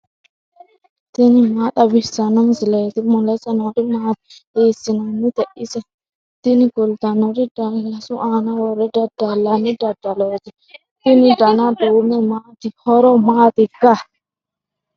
tini maa xawissanno misileeti ? mulese noori maati ? hiissinannite ise ? tini kultannori daallasu aana worre dadallanni dadalooti tini dana duume maati horo matikka